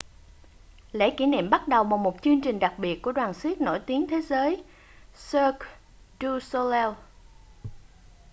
lễ kỷ niệm bắt đầu bằng một chương trình đặc biệt của đoàn xiếc nổi tiếng thế giới cirque du soleil